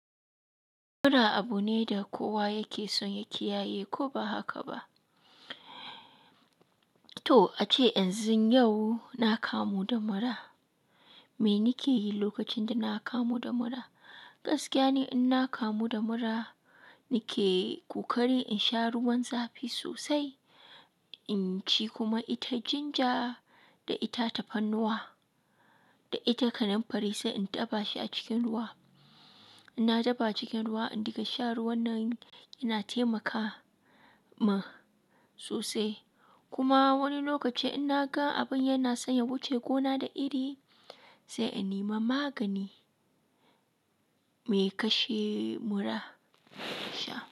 Mura abu ne da kowa yake son ya kiyaye ko ba haka ba. To ace yanzu yau na kamu da mura. Me nike yi lokacin da na kamu da mura? Gaskiya ne in na kamu da mura nike ƙoƙari in sha ruwan zafi sosai, in ci kuma ita jinja da ita tafarnuwa da ita kananfari sai in dafa shi a cikin ruwa. Na dafa a cikin ruwa in dinga sha ruwan nan yana taimaka ma sosai. Kuma wani lokaci in naga abin yana son ya wuce gona da iri, sai in nima magani mai kashe mura sha.